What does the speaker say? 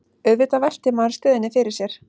Auðvitað veltir maður stöðunni fyrir sér